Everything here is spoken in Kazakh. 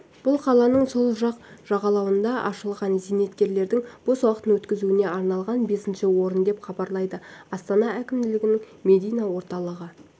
бұл қаланың сол жақ жағалауында ашылған зейнеткерлердің бос уақытын өткізуіне арналған бесінші орын деп хабарлайды астана әкімдігінің медиа орталығы